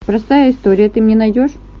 простая история ты мне найдешь